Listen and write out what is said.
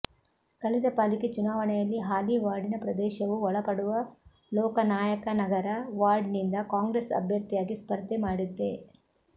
ಕಳೆದ ಪಾಲಿಕೆ ಚುನಾವಣೆಯಲ್ಲಿ ಹಾಲಿ ವಾರ್ಡಿನ ಪ್ರದೇಶವೂ ಒಳಪಡುವ ಲೋಕನಾಯಕನಗರ ವಾರ್ಡ್ನಿಂದ ಕಾಂಗ್ರೆಸ್ ಅಭ್ಯರ್ಥಿಯಾಗಿ ಸ್ಪರ್ಧೆ ಮಾಡಿದ್ದೆ